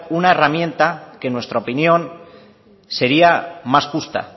una herramienta que en nuestra opinión sería más justa